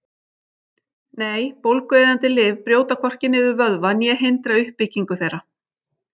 Nei, bólgueyðandi lyf brjóta hvorki niður vöðva né hindra uppbyggingu þeirra.